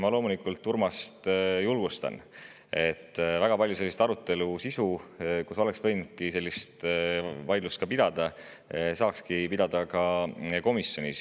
Ma loomulikult julgustan Urmast: väga paljuski oleks saanud sellist sisulist arutelu, kus oleks võinud ka niimoodi vaielda, komisjonis pidada.